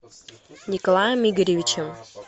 николаем игоревичем